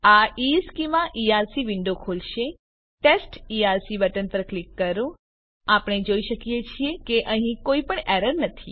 આ ઇશ્ચેમાં ERC window ખોલશે ટેસ્ટ ઇઆરસી બટન પર ક્લિક કરો આપણે જોઈ શકીએ છીએ કે અહીં કોઈપણ એરર નથી